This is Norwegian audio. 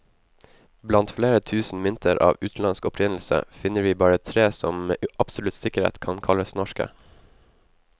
Blant flere tusen mynter av utenlandsk opprinnelse, finner vi bare tre som med absolutt sikkerhet kan kalles norske.